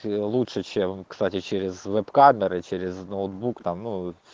ээ лучше чем кстати через веб-камеры через ноутбук там ну